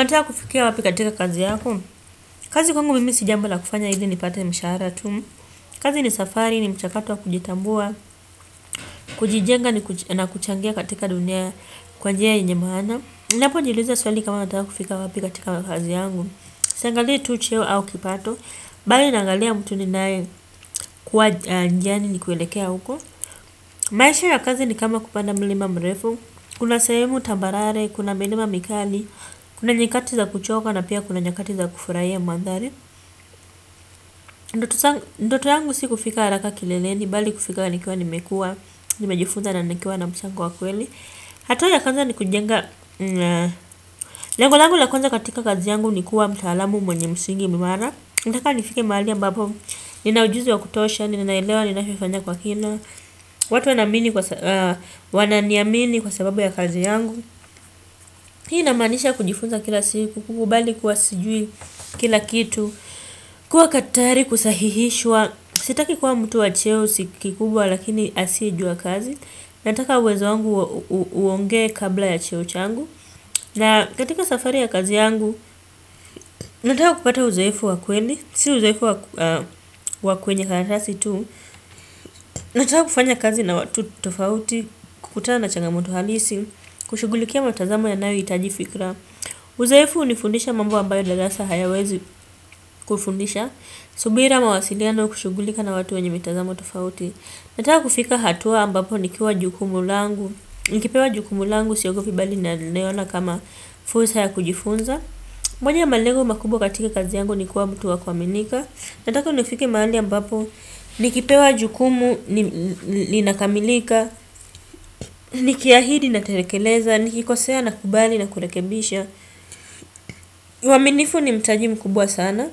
Unataka kufikia wapi katika kazi yako. Kazi kwangu mimisi jambo la kufanya ili ni pate mshahara tu. Kazi ni safari ni mchakato wa kujitambua. Kujijenga ni na kuchangia katika dunia kwanjia yenyemaana. Napo jiuliza swali kama nataka kufika wapi katika nakazi yangu. Siangalii tu cheo au kipato. Bali naangalia mtu ninaye kuwa njiani ni kuelekea huko. Maisha ya kazi ni kama kupanda mlima mrefu. Kuna sehemu tambarare, kuna milima mikali. Kuna nyakati za kuchoka na pia kuna nyakati za kufurahia mandhari. Ndoto yangu si kufika haraka kileleni. Bali kufika nikiwa nimekua. Nimejifunza na nikiwa na mchango wakweli. Hatua ya kwanza ni kujenga. Lengo langu la kwanza katika kazi yangu nikuwa mtaalamu mwenye msingi imara. Nataka nifike mahali ambapo ninaujuzi wa kutosha. Ninaelewa ninachofanya kwa kina. Watu wanaamini wananiamini kwa sababu ya kazi yangu. Hii inamaanisha kujifunza kila siku. Kukubali kuwasijui kila kitu. Kuwa ka tayari kusahihishwa. Sitaki kuwa mtu wa cheo sikikubwa lakini asiyejua kazi. Nataka uwezo wangu. Uongee kabla ya cheo changu. Na katika safari ya kazi yangu. Nataka kupata uzoefu wa kweli. Si uzoefu wa kwenye karatasi tu. Nataka kufanya kazi na watu tofauti. Kukutana changamoto halisi. Kushughulikia matazamo ya nayo itaji fikra. Uzoefu unifundisha mambo ambayo darasa hayawezi kufundisha. Subira mawasiliano kushughulika na watu wenye mitazamo tofauti. Nataka kufika hatua ambapo ni kiwa jukumu langu. Nikipewa jukumu langu siogopibali na leona kama fursa ya kujifunza. Mwanya malengo makubwa katika kazi yangu ni kuwa mtu wa kuaminika. Nataka uni fike mahali ambapo ni kipewa jukumu linakamilika. Nikiahidi na telekeleza. Nikikosea na kubali na kurekebisha. Uaminifu ni mtaji mkubwa sana.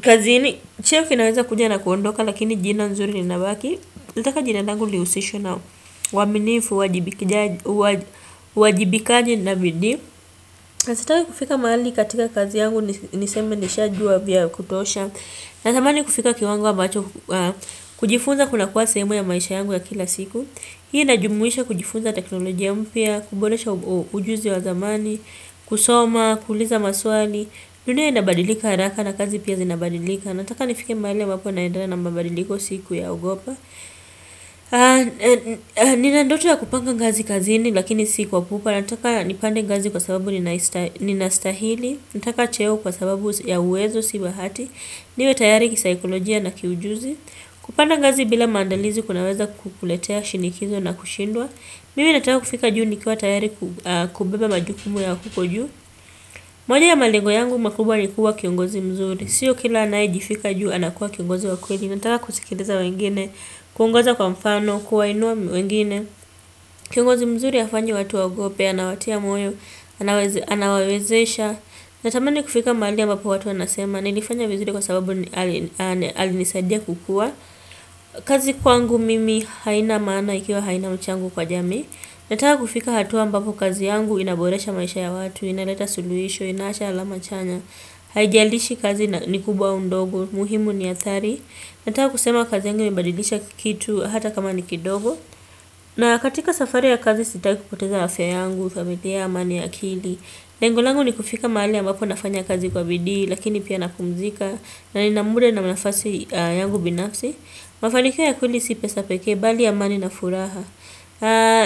Kazini chef inaweza kuja na kuondoka lakini jina nzuri li nabaki. Nataka jina langu lihusishwe na uaminifu uwajibikaji na bidii. Sitaki kufika mahali katika kazi yangu niseme nisha jua vya kutosha. Natamani kufika kiwango ambacho kujifunza kuna kuwa sehemu ya maisha yangu ya kila siku. Hii inajumuisha kujifunza teknolojia mpia kuboresha ujuzi wa zamani kusoma, kuuliza maswali dunia inabadilika haraka na kazi pia zinabadilika nataka nifike mahali ambapo naendelea na mabadiliko siku ya ogopa ninandoto ya kupanga ngazi kazini lakini sikwa pupa nataka nipande ngazi kwa sababu ninaista ninastahili nataka cheo kwa sababu ya uwezo sibahati niwe tayari kisaikolojia na kiujuzi kupanda ngazi bila maandalizi kunaweza kukuletea shinikizo na kushindwa mimi nataka kufika juu nikuwa tayari kubeba majukumu ya huko juu. Moja ya malengo yangu makubwa ni kuwa kiongozi mzuri. Siyo kila anaye jifika juu anakuwa kiongozi wa kweli nataka kuskiliza wengine, kuongoza kwa mfano, kuwa inua wengine. Kiongozi mzuri hafanyi watu wa ogope, anawatia moyo anaweza, anawawezesha. Natamani kufika mahali ambapo watu wanasema nilifanya vizuri kwa sababu ali alinisadia kukua. Kazi kwangu mimi haina maana ikiwa haina mchango kwa jamii. Nataka kufika hatua ambavo kazi yangu inaboresha maisha ya watu inaleta suluhisho, inaacha alama chanya, haijalishi kazi ni kubwa ndogo, muhimu ni athari. Nataka kusema kazi yangu imebadilisha kitu hata kama ni kidogo. Na katika safari ya kazi sitaki kupoteza afya yangu, familia amani ya akili. Lengo langu ni kufika mahali ambapo nafanya kazi kwa bidii, lakini pia napumzika, na nina muda na nafasi yangu binafsi. Mafanikio ya kweli sipesa pekee, bali amani na furaha.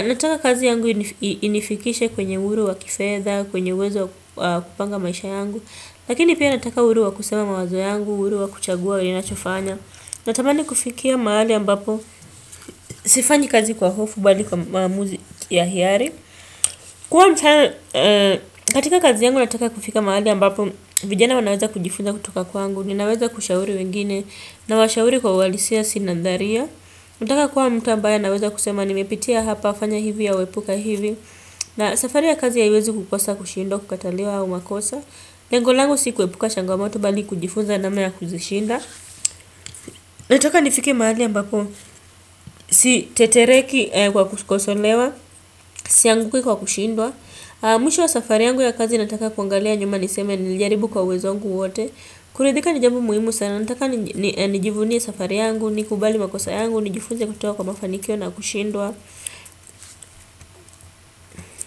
Nataka kazi yangu inifikishe kwenye uhuru wa kifedha kwenye uwezo wa kupanga maisha yangu. Lakini pia nataka uhuru wa kusema mawazo yangu. Uhuru wa kuchagua ninachofanya. Natamani kufikia mahali ambapo sifanyi kazi kwa hofu bali kwa maamuzi ya hiari. Kuwa mtana katika kazi yangu nataka kufika mahali ambapo vijana wanaweza kujifunza kutoka kwangu. Ninaweza kushauri wengine. Nawashauri kwa uhalisia si nadhalia. Nataka kuwa mtu ambaye anaweza kusema nimepitia hapa fanya hivi au epuka hivi na safari ya kazi haiwezi kukosa kushindwa kukataliwa au makosa lengolangu si kuepuka changomoto bali kujifunza na mna ya kuzishinda nataka nifike mahali ambapo si tetereki kwa kukosolewa sianguki kwa kushindwa mwisho wa safari yangu ya kazi nataka kuangalia nyuma niseme nilijaribu kwa uwezo wangu wote kuridhika ni jambo muhimu sana nataka nijivunie safari yangu nikubali makosa yangu nijifunza kutoka kwa mafanikio na kushindwa.